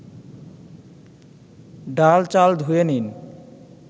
ডাল-চাল ধুয়ে নিন